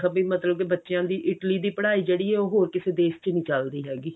ਵੀ ਮਤਲਬ ਕੀ ਬੱਚਿਆਂ ਦੀ Italy ਦੀ ਪੜ੍ਹਾਈ ਜਿਹੜੀ ਹੈ ਉਹ ਹੋਰ ਕਿਸੇ ਦੇਸ਼ ਚ ਨਹੀਂ ਚੱਲਦੀ ਹੈਗੀ